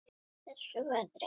Í þessu veðri?